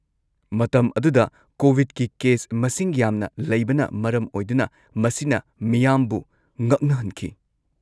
-ꯃꯇꯝ ꯑꯗꯨꯗ ꯀꯣꯕꯤꯗꯀꯤ ꯀꯦꯁ ꯃꯁꯤꯡ ꯌꯥꯝꯅ ꯂꯩꯕꯅ ꯃꯔꯝ ꯑꯣꯏꯗꯨꯅ ꯃꯁꯤꯅ ꯃꯤꯌꯥꯝꯕꯨ ꯉꯛꯅꯍꯟꯈꯤ꯫